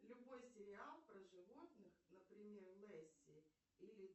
любой сериал про животных например лесси или